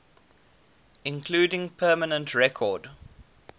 including permanent record